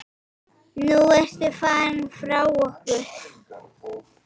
Nú ertu farin frá okkur.